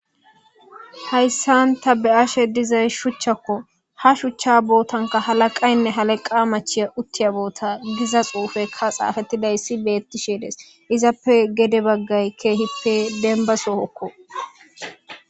Hayssan ta be ashe dizay shuchchakko ha shuchcha bootanka halaqaynne halaqa machiya uttiya boota giza xuufekka xaafettidayssi beetti sheedes izappe gede baggay keehippe denba sohokko.